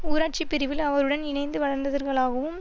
ஊராட்சிப் பிரிவில் அவருடன் இணைந்து வளர்ந்தவர்களாகவும்